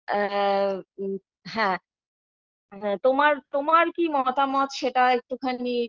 আ হ্যাঁ তোমার তোমার কি মতামত সেটাও একটুখানি